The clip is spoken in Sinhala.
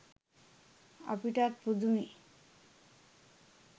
අපිටත් පුදුමෙ.